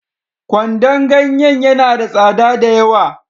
Kwandon ganyen ya na da tsada da yawa